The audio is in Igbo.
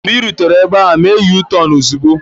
Mgbe ị rutere ebe ahụ, mee yutọonu ozugbo!